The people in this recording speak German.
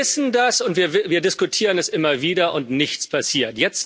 Wir wissen das, und wir diskutieren es immer wieder, und nichts passiert.